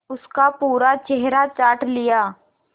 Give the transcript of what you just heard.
उसका पूरा चेहरा चाट लिया